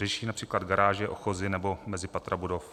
Řeší například garáže, ochozy nebo mezipatra budov.